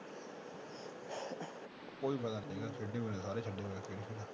ਕੋਈ ਫ਼ਾਇਦਾ ਨੀ ਹੈਗਾ